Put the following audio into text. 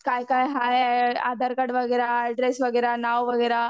काय काय हाय आधारकार्ड वगैरा, एड्रेस वगैरा, नाव वगैरा.